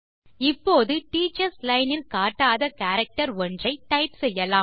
இப்போது teachers line இல் காட்டாத கேரக்டர் ஒன்றை டைப் செய்யலாம்